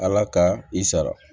Ala ka i sara